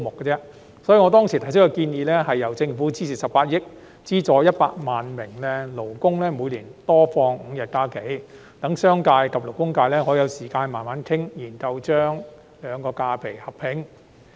因此，我當時建議由政府支付18億元，資助100萬名勞工，每年多放5日假期，讓商界及勞工界可以有時間慢慢討論，研究將兩類假期劃一。